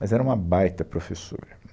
Mas era uma baita professora.